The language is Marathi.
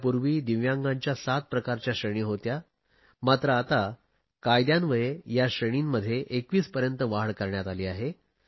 यापूर्वी दिव्यांगांच्या सात प्रकारच्या श्रेणी होत्या मात्र आता कायद्यान्वये या श्रेणींमध्ये 21 पर्यंत वाढ करण्यात आली आहे